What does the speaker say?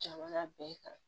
Jamana bɛɛ kan